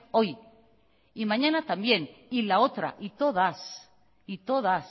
hoy y mañana también y la otra y todas y todas